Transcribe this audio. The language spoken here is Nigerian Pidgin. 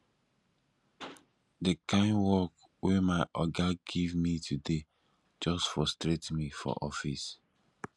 di kind work wey my oga give me today just frustrate me for office